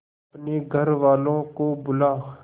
अपने घर वालों को बुला